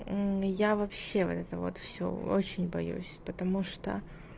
я вообще вот это вот всё очень боюсь потому что